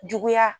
Juguya